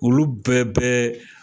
Olu bɛɛ bɛɛ